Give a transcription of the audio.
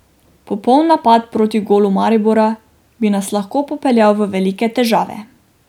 Popoln napad proti golu Maribora bi nas lahko popeljal v velike težave.